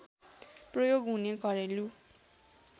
प्रयोग हुने घरेलु